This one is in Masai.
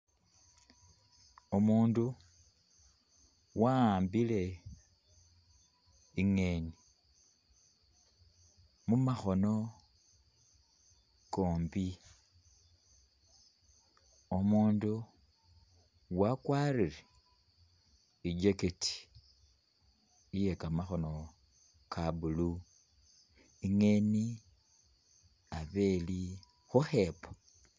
Umundu waaambile ingeni mumakhono kombi ,umundu wakwarire i'jacket iye kamakhono ka blue, ingeni abe ili khukhepo